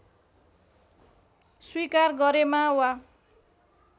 स्वीकार गरेमा वा